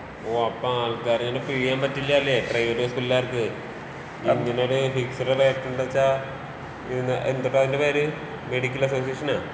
ഓഹ് അപ്പൊ ആൾക്കാരെ ഇങ്ങനെ പിഴിയാന്‍ പറ്റില്ല അല്ലേ പ്രൈവറ്റ് ഹോസ്പിറ്റലുകാർക്ക്. ഇങ്ങനെ ഒരൂ ഫിക്സഡ് റേറ്റ് ഉണ്ട് വെച്ചാ ഇതിന് എന്തുട്ടാ അതിന്റെ പേര് ഈ മെഡിക്കൽ അസോസിയേഷനാ?